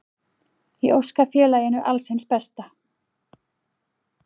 Ég óska félaginu alls hins besta.